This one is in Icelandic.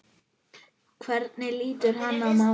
Hvernig lítur hann á málið?